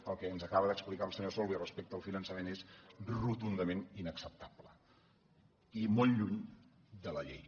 el que ens acaba d’explicar el senyor solbes respecte al finançament és rotundament inacceptable i molt lluny de la llei